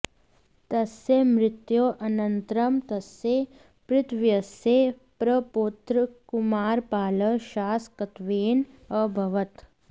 तस्य मृत्योः अनन्तरं तस्य पितृव्यस्य प्रपौत्रः कुमारपालः शासकत्वेन अभवत्